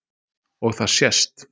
Og það sést